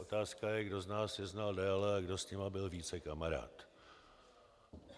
Otázka je, kdo z nás je znal déle a kdo s nimi byl více kamarád.